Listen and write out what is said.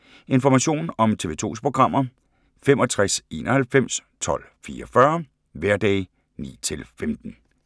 Information om TV 2's programmer: 65 91 12 44, hverdage 9-15.